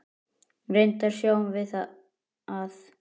Reyndar sjáum við að